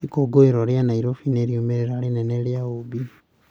Ikũngũĩro rĩa Nairobi nĩ riumĩrĩra rĩnene rĩa ũũmbi.